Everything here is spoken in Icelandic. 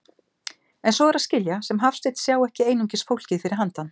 En svo er að skilja sem Hafsteinn sjái ekki einungis fólkið fyrir handan.